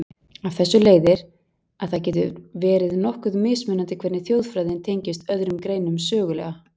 Af þessu leiðir, að það getur verið nokkuð mismunandi hvernig þjóðfræðin tengist öðrum greinum sögulega.